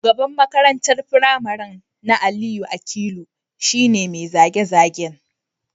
Shugaban makarantar firamare na Aliyu Akilu shi ne mai zage-zage